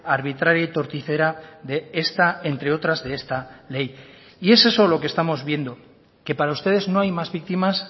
arbitraria y torticera de esta entre otras de esta ley y es eso lo que estamos viendo que para ustedes no hay más víctimas